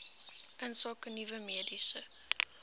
insake nuwe mediese